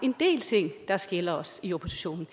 en del ting der skiller os i oppositionen